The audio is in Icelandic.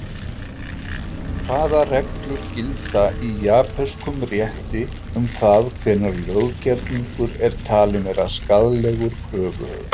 Hvaða reglur gilda í japönskum rétti um það hvenær löggerningur er talinn vera skaðlegur kröfuhöfum?